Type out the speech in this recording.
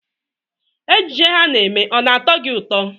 Ejije ha na-eme ọ na-atọ gị ụtọ.